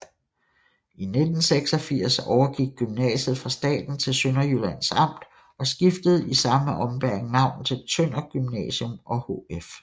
I 1986 overgik gymnasiet fra staten til Sønderjyllands Amt og skiftede i samme ombæring navn til Tønder Gymnasium og HF